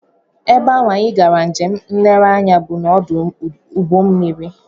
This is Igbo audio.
Ebe ahụ anyị gara njem nlereanya bụ n'ọdụ ụgbọmmiri